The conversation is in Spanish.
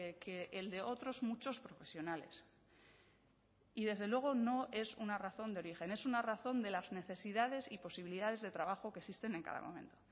que el de otros muchos profesionales y desde luego no es una razón de origen es una razón de las necesidades y posibilidades de trabajo que existen en cada momento